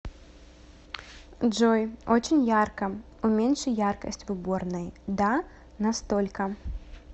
джой очень ярко уменьши яркость в уборной да на столько